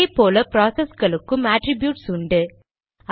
அதே போல ப்ராசஸ்களுக்கும் அட்ரிப்யூட்ஸ் உண்டு